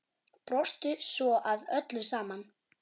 Brostu svo að öllu saman.